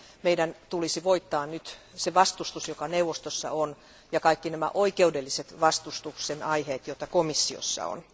Meidän tulisi voittaa nyt se vastustus, joka neuvostossa on, ja kaikki nämä oikeudelliset vastustuksen aiheet, joita komissiossa on.